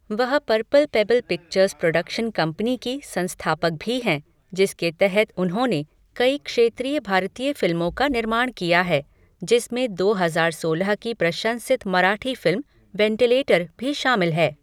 वह Purple Pebble Pictures production company की संस्थापक भी हैं, जिसके तहत उन्होंने कई क्षेत्रीय भारतीय फिल्मों का निर्माण किया है, जिसमें दो हजार सोलह की प्रशंसित मराठी फिल्म 'वेंटिलेटर' भी शामिल है।